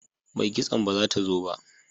Mai kitson ba ta zo ba